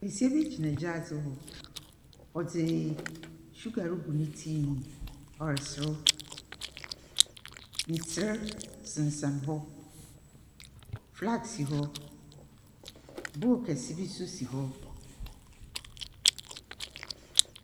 Besia bi gyina gyaadze hɔ. Ɔdze suggar regu ne tea mu. Ɔreserew. Ntser sensan hɔ. Flask si hɔ. Book kɛse bi nso si hɔ.